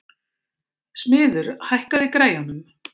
Smiður, hækkaðu í græjunum.